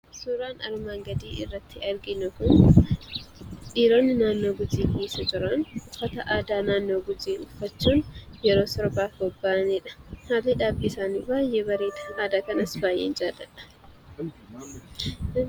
Suuraan armaan gadii irratti arginu kun dhiironni naannoo Gujii keessa jiran uffata aadaa naannoo Gujii uffachuun yeroo sirbaaf bobba'aniidha. Haalli dhaabbii isaanii baay'ee bareeda. Aadaa kanas baay'een jaalladha.